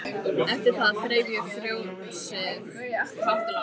Eftir það þreif ég fjósið hátt og lágt.